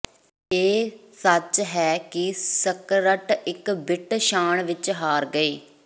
ਇਹ ਸੱਚ ਹੈ ਕਿ ਸਕਰਟ ਇੱਕ ਬਿੱਟ ਸ਼ਾਨ ਵਿਚ ਹਾਰ ਗਏ